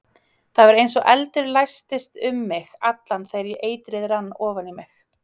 Það var eins og eldur læstist um mig allan þegar eitrið rann ofan í mig.